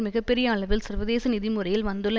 மிக பெரிய அளவில் சர்வதேச நிதி முறையில் வந்துள்ள